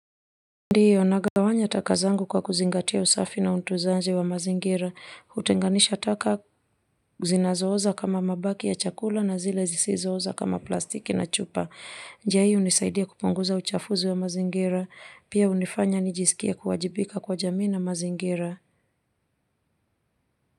Ndio nagawanya taka zangu kwa kuzingatia usafi na utunzaji wa mazingira, hutenganisha taka zinazo oza kama mabaki ya chakula na zile zisizo oza kama plastiki na chupa. Njia hii hunisaidia kupunguza uchafuzi wa mazingira, pia hunifanya nijisikie kuwajibika kwa jamii na mazingira.